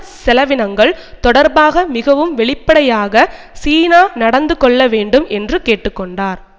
செலவினங்கள் தொடர்பாக மிகவும் வெளிப்படையாக சீனா நடந்து கொள்ள வேண்டும் என்று கேட்டு கொண்டார்